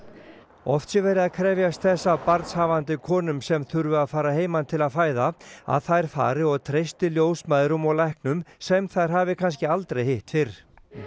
oft sé verið að krefjast þess af barnshafandi konum sem þurfi að fara að heiman til að fæða að þær fari og treysti ljósmæðrum og læknum sem þær hafi kannski aldrei hitt fyrr